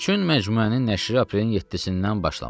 Vəçün məcmuənin nəşri aprelin 7-sindən başlamışdı.